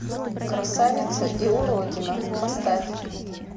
красавица и уродина поставь